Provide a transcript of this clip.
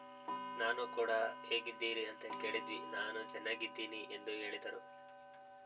ನಾನು ಕೂಡ ಹೇಗಿದ್ದೀರಿ ಅಂತ ಕೇಳಿದ್ವಿ ನಾನು ಚೆನ್ನಾಗಿದ್ದೀನಿ ಎಂದು ಹೇಳಿದರು